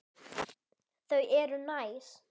Þau eru næs.